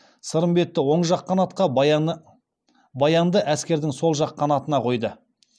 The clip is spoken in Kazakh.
сырымбетті оң жақ қанатқа баянды әскердің сол жақ қанатына қойды